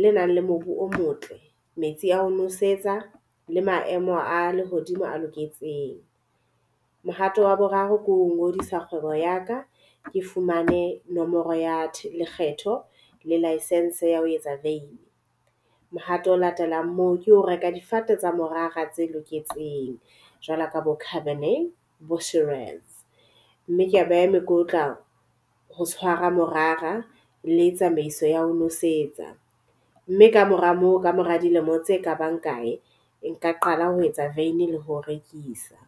le nang le mobu o motle, metsi a ho nosetsa le maemo a lehodimo a loketseng. Mohato wa boraro ke ho ngodisa kgwebo ya ka. Ke fumane nomoro ya lekgetho le liecence ya ho etsa vein. Mohato o latelang moo ke ho reka difate tsa morara tse loketseng jwalo ka bo . Mme ke a beha mekotla ho tshwara morara le tsamaiso ya ho nosetsa.me ka mora moo ka mora dilemo tse kabang kae nka qala ho etsa veini le ho rekisa.